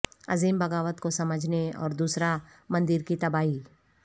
عظیم بغاوت کو سمجھنے اور دوسرا مندر کی تباہی